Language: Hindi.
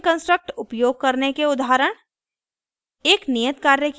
उपरोक्त लूपिंग कन्स्ट्रक्ट उपयोग करने के उदाहरण